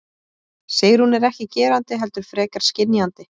Sigrún er ekki gerandi heldur frekar skynjandi.